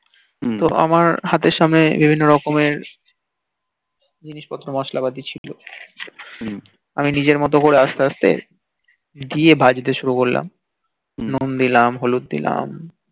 তো আমার হাতের সামনে বিভিন্ন রকমের জিনিস পত্র মসলা পাতি ছিল আমি নিজের মতো করে আসতে আসতে গিয়ে ভাজতে সুরু করলাম নুন দিলাম হলুদ দিলাম